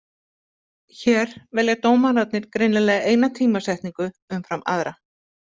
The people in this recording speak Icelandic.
Hér velja dómararnir greinilega eina tímasetningu umfram aðra.